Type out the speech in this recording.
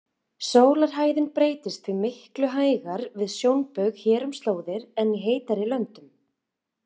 Sólarhæðin breytist því miklu hægar við sjónbaug hér um slóðir en í heitari löndum.